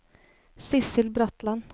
Sidsel Bratland